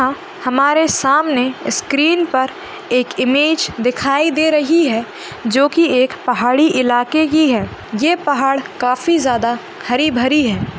अहं हमारे सामने स्क्रीन पर एक इमेज दिखाई दे रही है जो की एक पहाड़ी इलाके की है ये पहाड़ काफी ज्यादा हरी भरी है।